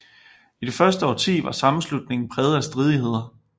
I det første årti var sammenslutningen præget af stridigheder